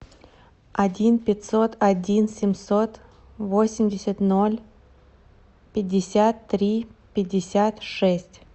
один пятьсот один семьсот восемьдесят ноль пятьдесят три пятьдесят шесть